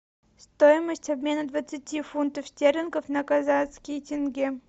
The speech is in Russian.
стоимость обмена двадцати фунтов стерлингов на казахские тенге